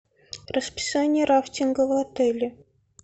расписание рафтинга в отеле